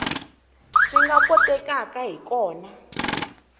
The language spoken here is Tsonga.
swi nga kotekaka hi kona